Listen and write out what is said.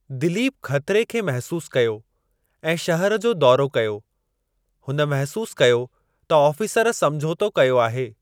दिलीप ख़तरे खे महिसूस कयो ऐं शहरु जो दौरो कयो। हुन महिसूस कयो त ऑफ़ीसर समझोतो कयो आहे।